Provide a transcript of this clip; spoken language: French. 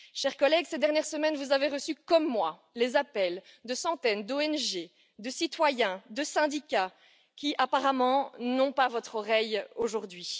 Chers collègues, ces dernières semaines, vous avez reçu comme moi les appels de centaines d'ONG, de citoyens, de syndicats qui, apparemment, n'ont pas votre oreille aujourd'hui.